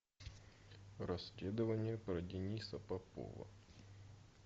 расследование про дениса попова